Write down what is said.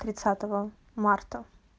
тридцатого марта